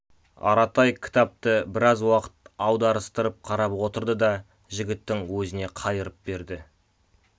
аратай кітапты біраз уақыт аударыстырып қарап отырды да жігіттің өзіне қайырып берді